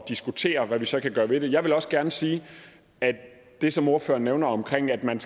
diskutere hvad vi så kan gøre ved det jeg vil også gerne sige at det som ordføreren nævner omkring at man